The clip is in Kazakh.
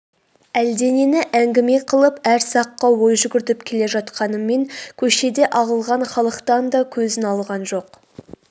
әлденені әңгіме қылып әр саққа ой жүгіртіп келе жатқанымен көшеде ағылған халықтан да көзін алған жоқ